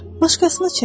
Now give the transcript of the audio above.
Başqasını çək.